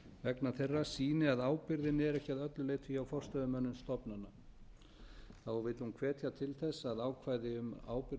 vegna þeirra sýni að ábyrgðin er ekki að öllu leyti hjá forstöðumönnum stofnana þá vill hún hvetja til þess að ákvæði um ábyrgð